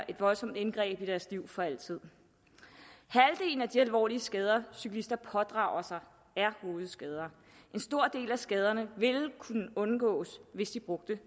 et voldsomt indgreb i deres liv for altid halvdelen af de alvorlige skader cyklister pådrager sig er hovedskader en stor del af skaderne ville kunne undgås hvis de brugte